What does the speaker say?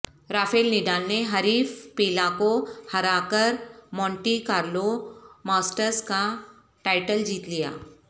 Rafale Nadal نے حریف Pella کو ہرا کر مونٹی کارلو ماسٹرز کا ٹائٹل جیت لیا